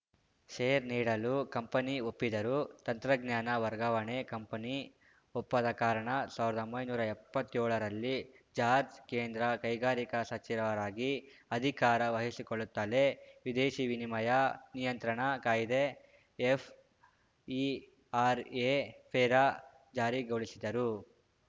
share ನೀಡಲು company ಒಪ್ಪಿದರೂ ತಂತ್ರಜ್ಞಾನ ವರ್ಗಾವಣೆ ಕಂಪನಿ ಒಪ್ಪದ ಕಾರಣ ಸಾವರ್ದೊಂಬೈ ನೂರಾ ಎಪ್ಪತ್ಯೋಳರಲ್ಲಿ ಜಾರ್ಜ್ ಕೇಂದ್ರ ಕೈಗಾರಿಕಾ ಸಚಿವರಾಗಿ ಅಧಿಕಾರ ವಹಿಸಿಕೊಳ್ಳುತ್ತಲೇ ವಿದೇಶಿ ವಿನಿಯಮ ನಿಯಂತ್ರಣ ಕಾಯ್ದೆ ಎಫ್‌ಇಆರ್‌ಎ ಫೆರಾ ಜಾರಿಗೊಳಿಸಿದರು